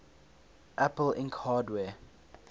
apple inc hardware